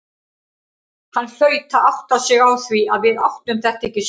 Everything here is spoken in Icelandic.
Hann hlaut að átta sig á því að við áttum þetta ekki skilið.